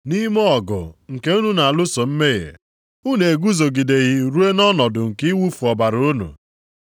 Nʼime ọgụ nke unu na-alụso mmehie, unu eguzogideghị ruo nʼọnọdụ nke iwufu ọbara unu.